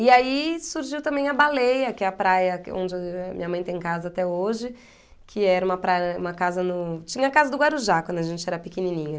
E aí surgiu também a baleia, que é a praia que onde minha mãe tem casa até hoje, que era uma praia, uma casa no... Tinha a casa do Guarujá, quando a gente era pequenininha.